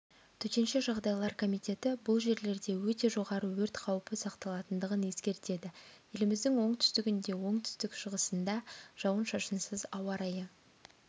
төтенше жағдайлар комитеті бұл жерлерде өте жоғары өрт қаупі сақталатындығын ескертеді еліміздің оңтүстігінде оңтүстік-шығысындажауын-шашынсыз ауа райы